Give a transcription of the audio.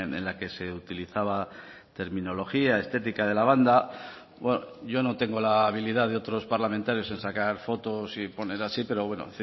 en la que se utilizaba terminología estética de la banda yo no tengo la habilidad de otros parlamentarios en sacar fotos y poner así pero bueno